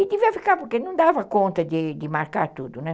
E devia ficar, porque não dava conta de de marcar tudo, né?